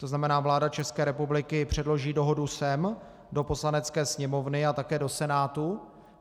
To znamená, vláda České republiky předloží dohodu sem do Poslanecké sněmovny a také do Senátu.